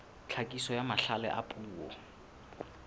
tlhakiso ya mahlale a puo